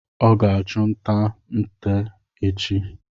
Ọ ga achụ nta nte echi